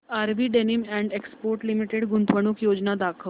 RV denims and exports limited गुंतवणूक योजना दाखव